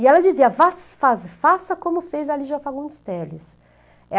E ela dizia, vaz faz faça como fez a Lígia Fagundes Teles.